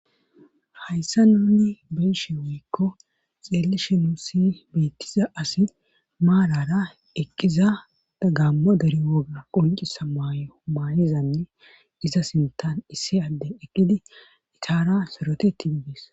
hayssa nuni beyshe woykko xeelishenusi beettiza asi maalara eqqiza da gammo derewoga qoncisa maayo maayizanne iza sintan issi adde eqqidi itara soroteti idees